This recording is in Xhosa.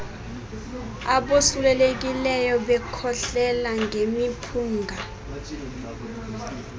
abosulelekileyo bekhohlela ngemiphunga